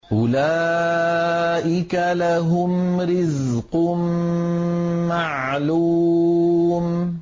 أُولَٰئِكَ لَهُمْ رِزْقٌ مَّعْلُومٌ